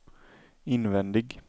invändig